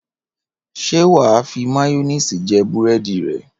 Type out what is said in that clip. Ṣé wà á fi máyónìsì jẹ búrẹ́dì rẹ?